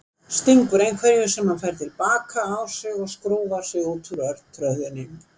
Stingur einhverju sem hann fær til baka á sig og skrúfar sig út úr örtröðinni.